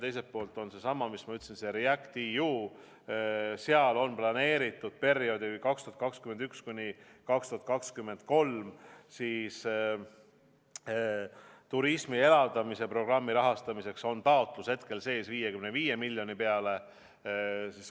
Teiselt poolt on seesama REACT-EU, seal on planeeritud perioodi 2021–2023 turismi elavdamise programmi rahastamine, taotlus on hetkel sees 55 miljoni euro peale.